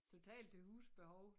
Totalt til husbehov